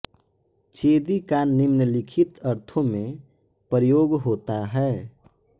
चेदि का निम्नलिखित अर्थों में प्रयोग होता है